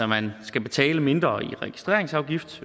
man skal betale mindre i registreringsafgift